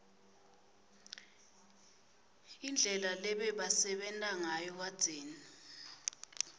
indlela lebebasebenta ngayo kadzeni